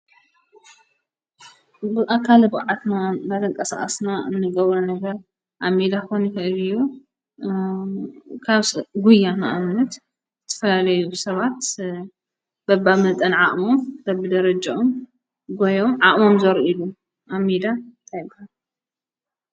ብኣካልብዓት ናተንቀ ስኣስና እንገብረ ነገር ኣሚዳ ኾኑድዩ ካብ ጕያ መኣምነት ትፈላለዩ ሰባት በባ መልጠን ዓእሞም በብ ደረጀኦም ጐዮም ዓእሞም ዘሩ ኢሉ ኣሚዳ ኣይጓድልን።